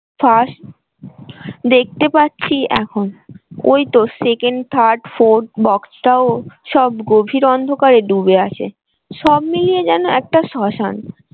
first দেখতে পাচ্ছি এখন ওই তো second, third, fourth box টাও সব গভীর অন্ধকারে ডুবে আছে সব মিলিয়ে যেন একটা শ্মশান।